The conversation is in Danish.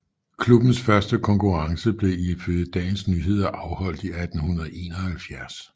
Klubbens første konkurrence blev ifølge Dagens Nyheder afholdt i 1871